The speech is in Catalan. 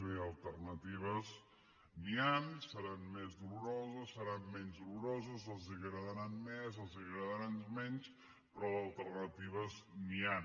miri d’alternatives n’hi han seran més doloroses seran menys doloroses els agradaran més els agradaran menys però d’alternatives n’hi han